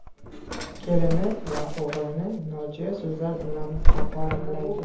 Kelini va o‘g‘lini nojo‘ya so‘zlar bilan haqoratlaydi.